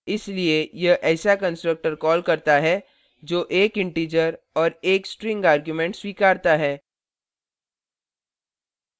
इसलिए यह ऐसा constructor calls करता है जो 1 integer और 1 string argument स्वीकारता है